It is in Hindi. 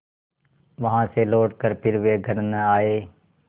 वहाँ से लौटकर फिर वे घर न आये